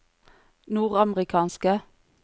nordamerikanske